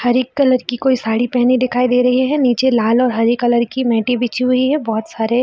हरी colour की कोई साड़ी पहनी दिखाई दे रही है निचे लाल और हरी कलर की मैटे बिछी हुई है बहुत सारे ।